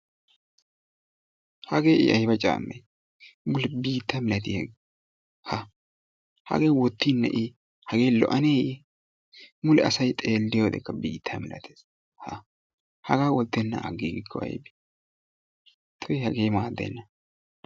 Hagee I ayba caammee biitta milatiyagee? Ha hagee wottinnee I hagee lo'oannee I mule asay xeeliyodekka biitta malattees, hagaa wottenaan agiigikko aybee? Tuyyi hagee maaddena.